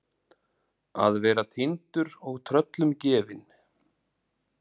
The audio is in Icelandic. Að vera týndur og tröllum gefin